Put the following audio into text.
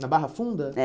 Na Barra Funda? É